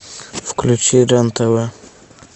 включи рен тв